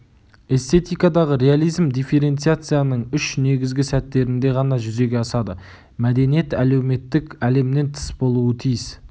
эстетикадағы реализм дифференциацияның үш негізгі сәттерінде ғана жүзеге асады мәдениет әлеуметтік әлемнен тыс болуы тиіс